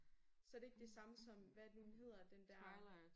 Så det ikke det samme som hvad er det nu den hedder den der